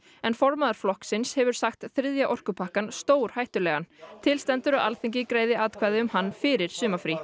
en formaður flokksins hefur sagt þriðja orkupakkann stórhættulegan til stendur að Alþingi greiði atkvæði um hann fyrir sumarfrí